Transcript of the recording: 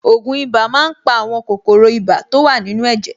Ògùn ibà máa ń pa àwọn kòkòrò ibà to wà nínú ẹ̀jẹ̀.